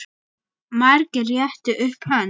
Margir réttu upp hönd.